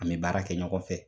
An be baara kɛ ɲɔgɔn fɛ